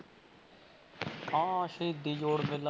ਹਾਂ ਹਾਂ ਸ਼ਹੀਦੀ ਜੋੜ ਮੇਲਾ।